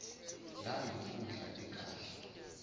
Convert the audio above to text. lena yinkundla ekahle